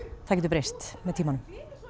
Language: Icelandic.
það getur breyst með tímanum